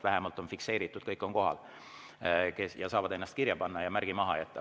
Vähemalt oleks fikseeritud kõik, kes on kohal, nad saaks ennast kirja panna ja märgi maha jätta.